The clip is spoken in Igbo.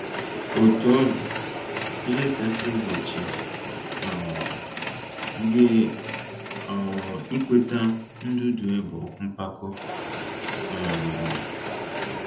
Otú ọ dị, ihe kasị egbochi um gị um ikweta ndudue bụ mpako um.